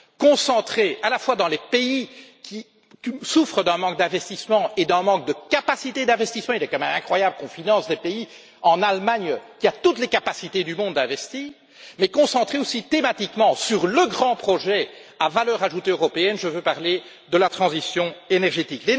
Concentré à la fois dans les pays qui souffrent d'un manque d'investissement et d'un manque de capacités d'investissement il est quand même incroyable qu'on finance des pays comme l'Allemagne, qui a toutes les capacités du monde d'investir mais concentré aussi thématiquement sur le grand projet à valeur ajoutée européenne, je veux parler de la transition énergétique.